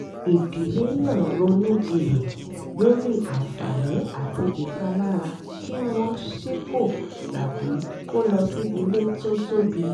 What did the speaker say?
ìdílé náà ronú jinlẹ̀ lórí àǹfààní àti ìpalára kí wọ́n sípò tàbí kó lọ sí ilé tó tóbi